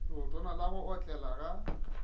leotwana la go otlela ga